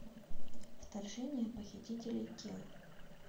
вторжение похитителей тел